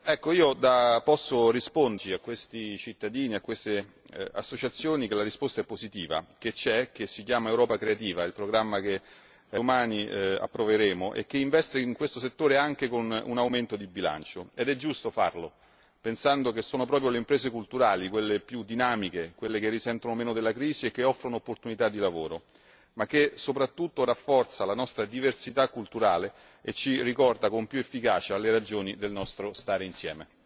Oggi posso dichiarare a questi cittadini e a queste associazioni che la risposta è positiva lo strumento esiste e si chiama Europa creativa, il programma che domani approveremo e che investe questo settore anche con un aumento di bilancio ed è giusto farlo, pensando che sono proprio le imprese culturali quelle più dinamiche, quelle che risentono meno della crisi e che offrono opportunità di lavoro ma che, soprattutto, rafforza la nostra diversità culturale e ci ricorda con più efficacia le ragioni del nostro stare insieme.